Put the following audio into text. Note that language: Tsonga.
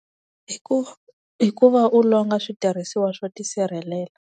Hi ku hi ku va u longa switirhisiwa swo tisirhelela.